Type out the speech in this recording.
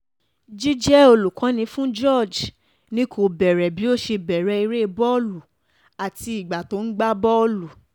jíjẹ́ olùkọ́ni fún george ni kò bẹ̀rẹ̀ bí ó ṣe bẹ̀rẹ̀ eré bọ́ọ̀lù àti ìgbà tó ń gbá bọ́ọ̀lù